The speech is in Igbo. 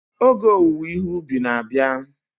Oge owuwe ihe ubi na-abịa.